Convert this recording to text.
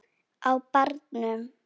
Á barnum!